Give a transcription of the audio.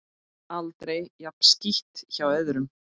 Aldrei jafn skítt hjá öðrum.